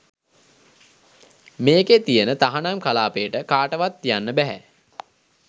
මේකේ තියෙන තහනම් කලාපයට කාටවත් යන්න බැහැ.